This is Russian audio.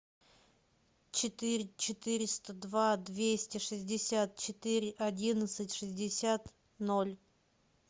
четыре четыреста два двести шестьдесят четыре одиннадцать шестьдесят ноль